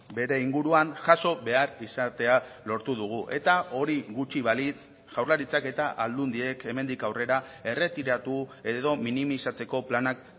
bere inguruan jaso behar izatea lortu dugu eta hori gutxi balitz jaurlaritzak eta aldundiek hemendik aurrera erretiratu edo minimizatzeko planak